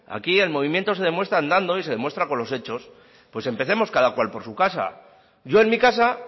aquí el movimiento se demuestra andando y se demuestra con los hechos pues empecemos cada cual por su casa yo en mi casa